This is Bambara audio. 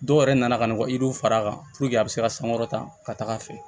Dɔw yɛrɛ nana ka na u ka yiriw fara a kan puruke a bɛ se ka sankɔrɔta ka taga a fɛ